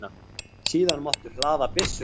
Síðan máttu hlaða byssuna.